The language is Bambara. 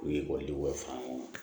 U ye ekɔlidenw fara ɲɔgɔn kan